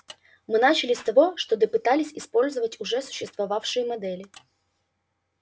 мы начали с того что допытались использовать уже существовавшие модели